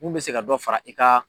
Mun bɛ se ka dɔ fara i ka